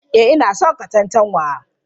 Eh ina son cin katantanwa.